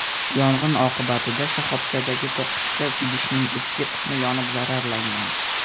Yong‘in oqibatida shoxobchadagi to‘qqizta idishning ustki qismi yonib zararlangan.